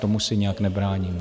Tomu se nějak nebráníme.